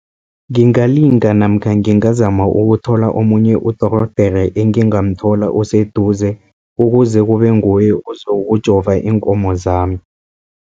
Ngingalinda namkha ngingazama ukuthola omunye udorhodere engingamthola oseduze, ukuze kube nguye uzokujova iinkomo zami.